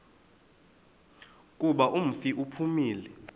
kuba umfi uphumile